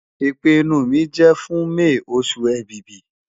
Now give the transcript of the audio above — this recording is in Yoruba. Ipinnu mi jẹ fun May osu Ẹ̀bìbì